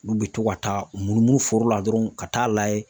Olu bɛ to ka taa u munumunu foro la dɔrɔn ka t'a layɛ.